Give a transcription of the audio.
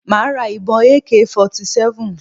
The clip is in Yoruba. Màá ra ìbọn Ak 47